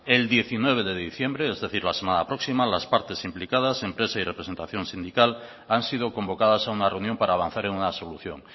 el diecinueve de diciembre es decir la semana próxima las partes implicadas empresa y representación sindical han sido convocadas a una reunión para avanzar en una solución